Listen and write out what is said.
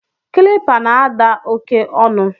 Kịlịpa na-ada oke ọnụ